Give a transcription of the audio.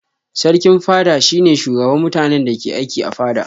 Sarkin fada shi ne shugaban mutanen da ke aiki a fada.